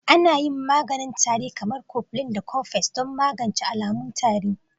Ana yin maganin tari kamar kofilin da kofeks don magance alamun tari.